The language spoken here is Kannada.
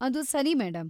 ಅದು ಸರಿ ಮೇಡಂ.